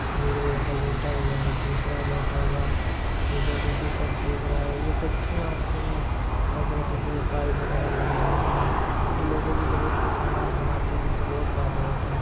ये एक लड़का लेटा हुआ है दूसरा बैठा हुआ है तीसरा दूसरी तरफ देख रहा है। ये फैक्ट्रियां होती हैं तरह तरीके से पाईप वगैरा लगे हुए हैं जो लोगों की जरूरत के सामान बनाते हैं इनसे बहुत फायदा होता है।